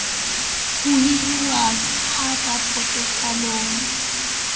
ho hiruwa ha ka potefoliong